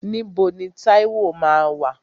Níbo ni Táíwò máa wà?